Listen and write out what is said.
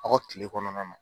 Aw ka kile kɔnɔna na